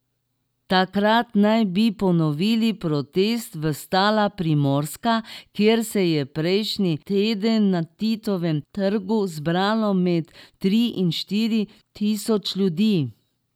Takrat naj bi ponovili protest Vstala Primorska, kjer se je prejšnji teden na Titovem trgu zbralo med tri in štiri tisoč ljudi.